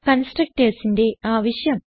constructorsന്റെ ആവശ്യം